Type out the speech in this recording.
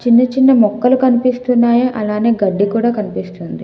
చిన్న చిన్న మొక్కలు కనిపిస్తున్నాయి అలానే గడ్డి కూడా కనిపిస్తుంది.